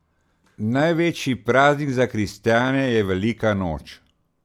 Največji praznik za kristjane je velika noč.